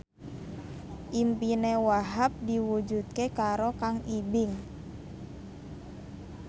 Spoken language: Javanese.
impine Wahhab diwujudke karo Kang Ibing